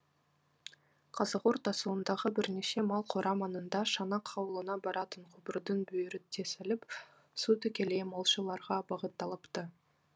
қазығұрт асуындағы бірнеше мал қора маңында шанақ ауылына баратын құбырдың бүйірі тесіліп су тікелей малшыларға бағытталыпты